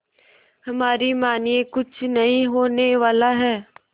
हमारी मानिए कुछ नहीं होने वाला है